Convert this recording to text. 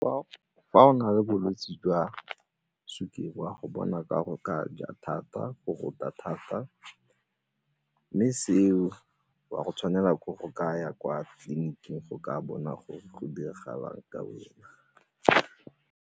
Fa o na le bolwetse jwa sukiri o a go bona ka go ka ja thata, go rota thata mme seo o a go tshwanela ke go ka ya kwa tleliniking go ka bona gore go diregang ka wena.